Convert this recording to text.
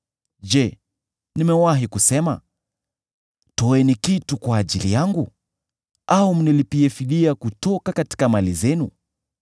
Je, nimewahi kusema, ‘Toeni kitu kwa ajili yangu, au mnilipie fidia kutoka mali zenu,